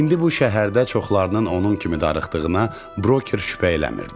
İndi bu şəhərdə çoxlarının onun kimi darıxdığına broker şübhə eləmirdi.